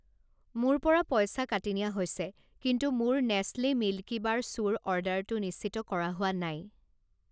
মোৰ পৰা পইচা কাটি নিয়া হৈছে কিন্তু মোৰ নেছলে মিল্কিবাৰ চুৰ অৰ্ডাৰটো নিশ্চিত কৰা হোৱা নাই।